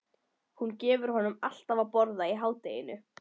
Hún gefur honum alltaf að borða í hádeginu.